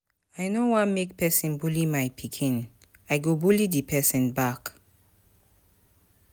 I no wan make person bully my pikin, I go bully the person back.